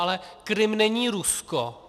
Ale Krym není Rusko!